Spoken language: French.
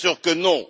Bien sûr que non!